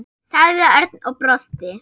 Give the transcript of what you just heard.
sagði Örn og brosti.